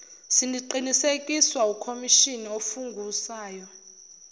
siqinisekiswa ukhomishnni ofungusayo